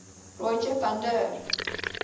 rogier van der